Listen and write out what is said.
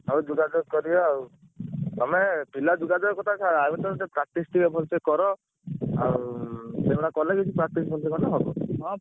ହଉ ଯୋଗାଯୋଗ କରିବା ଆଉ ତମେ ପିଲା ଯୋଗାଯୋଗ କଥା ଛାଡ ଆଗ ତମେ ଟିକେ practice ଟିକେ ଭଲସେ କର। ଆଉ ସେଗୁଡା କଲେ କିଛି practice ଫ୍ରାକ୍ଟିସ୍ କଲେ ହବ ।